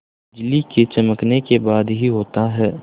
बिजली के चमकने के बाद ही होता है